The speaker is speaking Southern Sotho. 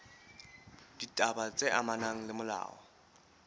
ditaba tse amanang le molao